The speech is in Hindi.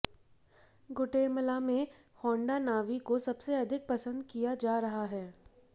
गुटेमला में होंडा नावी को सबसे अधिक पसंद किया जा रहा है